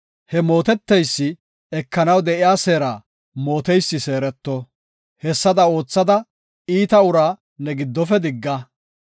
he mooteteysi ekanaw de7iya seera mooteysi seereto. Hessada oothada, iita uraa ne giddofe digga.